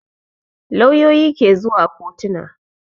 Lauyoyi ke zuwa kotona